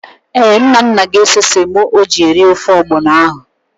Ee, Nnanna ga-ese semo eri ofe ọgbọnọ ahụ.